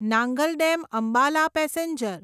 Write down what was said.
Nangal dam Ambala passenger